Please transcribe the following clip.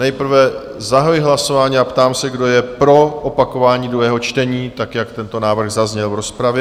Nejprve zahajuji hlasování a ptám se, kdo je pro opakování druhého čtení tak, jak tento návrh zazněl v rozpravě?